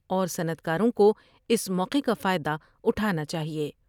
اور صنعت کاروں کو اس موقع کا فائدہ اٹھانا چاہئے ۔